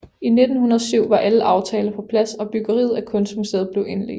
I 1907 var alle aftaler på plads og byggeriet af kunstmuseet blev indledt